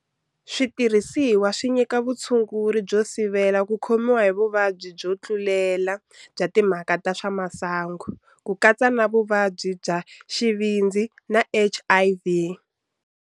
Switirhisiwa swi nyika vutshunguri byo sivela ku khomiwa hi vuvabyi byo tlulela bya timhaka ta swa masangu, ku katsa na vuvabyi bya xivindzi na HIV.